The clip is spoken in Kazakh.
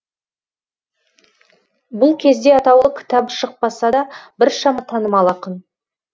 бұл кезде атаулы кітабы шықпаса да біршама танымал ақын